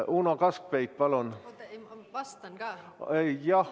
Uno Kaskpeit, palun!